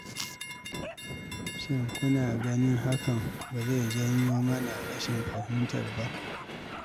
shin kuna gani hakan ba zai janyo mana rashin fahimtar ba?